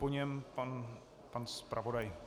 Po něm pan zpravodaj.